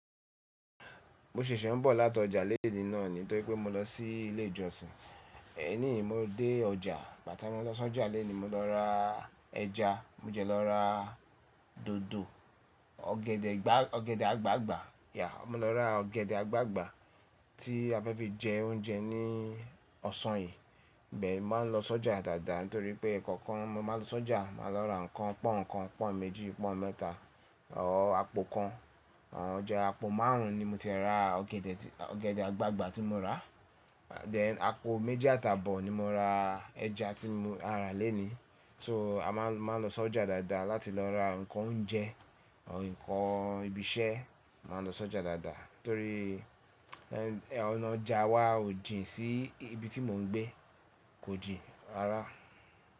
Mo ṣèṣè ń bọ̀ láti ọjà léèní náà ni. Tó ri pé mo lọ sí ilé ìjọsìn. E níì, mo dé ọjà. Ìgbà tí mo lọ sí ọjà léèní, mo lọ ra ẹja, mo jẹ lọ ra dòdò, ọ̀gẹ̀dẹ̀ àgbagbà. Yeah, mo lọ ra ọ̀gẹ̀dẹ̀ àgbagbà tí a fẹ́ fi jẹ oúnjẹ ní ọ̀sán yìí. Bẹ́ẹ̀ ni, máa ń lọ sí ọjà dáadáa nítorí pé ìkọ̀ọ̀kan mo máa ń lọ sí ọjà. Máa lọ ra nǹkan pọ́n, nǹkan pọ́n méjì, pọ́n mẹ́ta ọ̀ àpò kan. Àn jẹ àpò márùn ún ni mo ti ra ọ̀gẹ̀dẹ̀, ọ̀gẹ̀dẹ̀ àgbagbà tí mo rà. Then àpò méjì àti abọ̀ ni mo ra ẹja tí mo rà léni. So a máa ń lọ sí ọjà dáadáa láti lọ ra nǹkan oúnjẹ, or nǹkan ibi iṣẹ́. A máa ń lọ sí ọjà dáadáa torí ọ̀nà ọjà wa ò jìn sí ibi tí mò ń gbé. Kò jìn rárá.